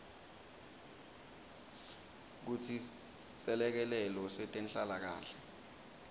kutsi selekelelo setenhlalakanhle